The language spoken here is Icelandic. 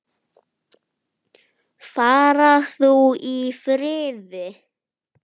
Far þú í friði.